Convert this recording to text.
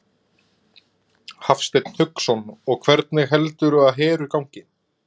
Hafsteinn Hauksson: Og hvernig heldurðu að Heru gangi?